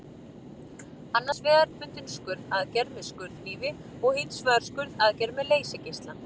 Annars vegar er hefðbundin skurðaðgerð með skurðhnífi og hins vegar skurðaðgerð með leysigeisla.